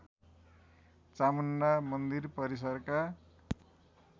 चामुण्डा मन्दिर परिसरका